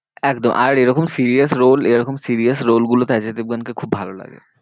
একদম, আর এরকম serious role এরকম serious role গুলোতে অজয় দেবগন কে খুব ভালো লাগে।